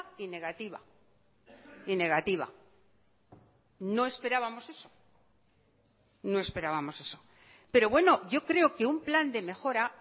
y negativa y negativa no esperábamos eso no esperábamos eso pero bueno yo creo que un plan de mejora